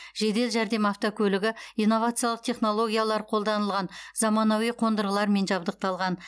жедел жәрдем автокөлігі инновациялық технологиялар қолданылған заманауи қондырғылармен жабдықталған